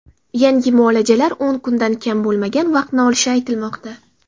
Yangi muolajalar o‘n kundan kam bo‘lmagan vaqtni olishi aytilmoqda.